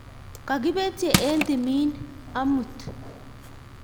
Kokipetye eng' timin amut